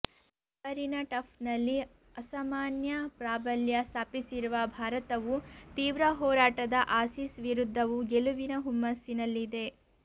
ತವರಿನ ಟಫ್ನಲ್ಲಿ ಅಸಾಮಾನ್ಯ ಪ್ರಾಬಲ್ಯ ಸ್ಥಾಪಿಸಿರುವ ಭಾರತವು ತೀವ್ರ ಹೋರಾಟದ ಆಸೀಸ್ ವಿರುದ್ಧವೂ ಗೆಲುವಿನ ಹುಮ್ಮಸ್ಸಿ ನಲ್ಲಿದೆ